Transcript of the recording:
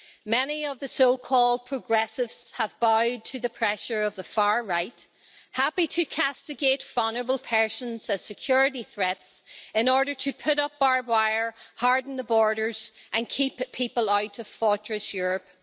Many of the so called progressives have bowed to the pressure of the far right, happy to castigate vulnerable persons as security threats in order to put up barbed wire, harden the borders and keep people out of fortress Europe.